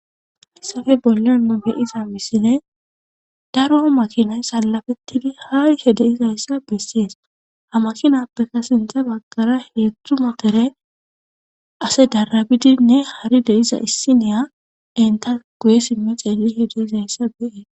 Hayssafe bollenno beyiza misine daro makinay salafettidi hayhe deizayssa bessees ha makinappeka sintha baggara heedzdzumatere ase darabidinne hari deiza issiniya enta guye simme xeeli hedeizayssa beee.